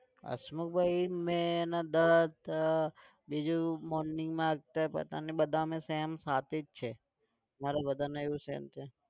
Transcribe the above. હસમુખભાઈ, મેં અને દત્ત બીજું morning માં આવતા બધાને બધાને same સાથે જ છે. અમારે બધાને એવું same છે.